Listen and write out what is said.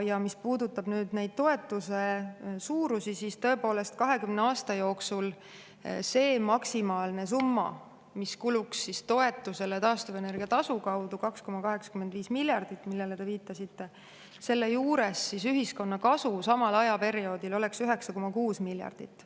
Ja mis puudutab neid toetuse suurusi, siis tõepoolest, 20 aasta jooksul oleks see maksimaalne summa, mis kuluks toetusele taastuvenergia tasu kaudu, 2,85 miljardit, millele te viitasite, selle juures ühiskonna kasu samal ajaperioodil oleks 9,6 miljardit.